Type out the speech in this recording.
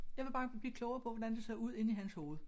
Jeg vil bare blive klogere på hvordan det ser ud inde i hans hoved